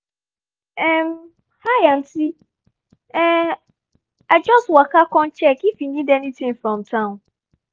um hi auntie um i just waka come check if you need anything from town